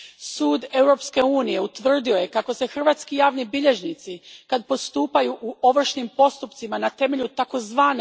Sud Europske unije utvrdio je kako se hrvatski javni bilježnici, kad postupaju u ovršnim postupcima na temelju tzv.